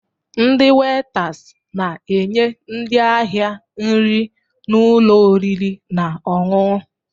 Ndị wetas na-enye ndị ahịa nri n'ụlọ oriri na ọṅụṅụ